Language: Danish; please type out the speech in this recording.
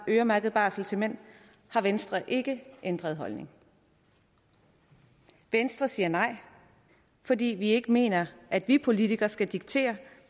øremærket barsel til mænd har venstre ikke ændret holdning venstre siger nej fordi vi ikke mener at vi politikere skal diktere